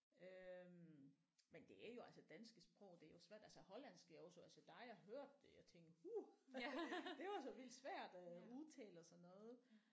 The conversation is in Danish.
Øh men det er jo altså danske sprog det er jo svært altså hollandsk er jo så altså der har jeg hørt det og tænkt uh det var så vildt svært at udtale og sådan noget